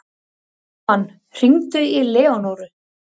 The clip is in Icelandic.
Dalmann, hringdu í Leónóru.